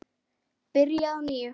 Byrja að nýju?